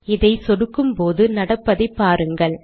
இதை சொடுக்கும்போது நடப்பதைபாருங்கள்